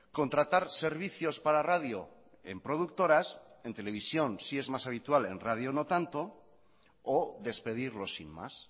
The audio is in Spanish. contratar servicios para radio en productoras en televisión sí es más habitual en radio no tanto o despedirlos sin más